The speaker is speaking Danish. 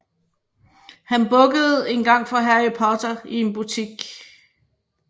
Han bukkede engang for Harry Potter i en butik